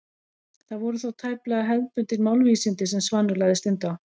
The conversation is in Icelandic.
Það voru þó tæplega hefðbundin málvísindi sem Svanur lagði stund á.